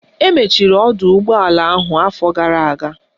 Emechiri ọdọụgbọala ahụ afọ gara aga